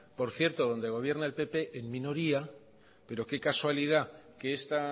por cierto donde gobierna el pp en minoría pero que casualidad que esta